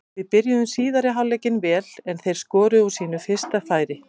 Við byrjuðum síðari hálfleikinn vel en þeir skoruðu úr sínu fyrsta færi.